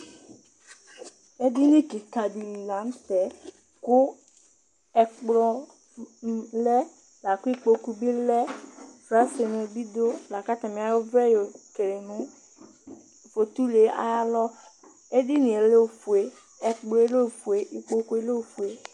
Edini kɩka dɩ li la nʋ tɛ kʋ ɛkplɔ m lɛ la kʋ ikpoku bɩ lɛ Fasɛlɛnɩ bɩ dʋ la kʋ atanɩ ayɔ ɔvlɛ yɔkele nʋ fotulu yɛ ayalɔ Edini yɛ lɛ ofue, ɛkplɔ yɛ lɛ ofue, ikpoku yɛ lɛ ofue